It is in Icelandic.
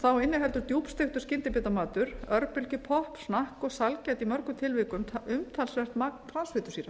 þá inniheldur djúpsteiktur skyndibitamatur örbylgjupopp snakk og sælgæti í mörgum tilvikum umtalsvert magn transfitusýra